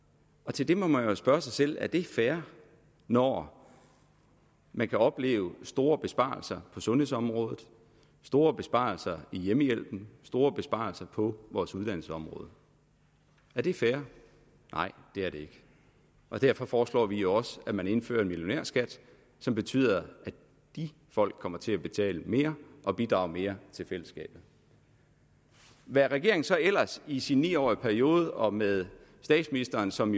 til det må man spørge sig selv er det fair når man kan opleve store besparelser på sundhedsområdet store besparelser i hjemmehjælpen og store besparelser på vores uddannelsesområde er det fair nej det er det ikke og derfor foreslår vi også at man indfører en millionærskat som betyder at de folk kommer til at betale mere og bidrage mere til fællesskabet hvad regeringen så ellers i sin ni årige periode og med statsministeren som